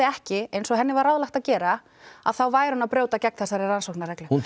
ekki eins og henni var ráðlagt að gera þá væri hún að brjóta gegn þessari rannsóknarreglu hún